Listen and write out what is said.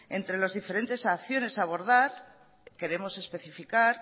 entre las diferentes acciones a abordar queremos especificar